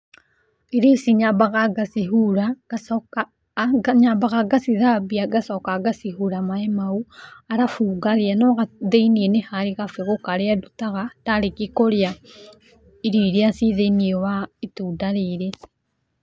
Irio ici nyambaga ngacihura, ngacoka, nyambaga ngacithambia ngacoka ngacihura maĩ mau, arabu ngarĩa no thĩiniĩ nĩ harĩ kabegũ karĩa ndutaga, ndarĩkia kũrĩa irio iria ciĩ thĩiniĩ wa itunda rĩrĩ.